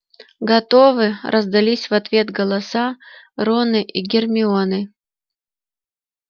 готовы раздались в ответ голоса рона и гермионы